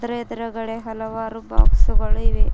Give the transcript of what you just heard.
ಇದರ ಎದುರುಗಡೆ ಹಲವಾರು ಬಾಕ್ಸುಗಳು ಇವೆ.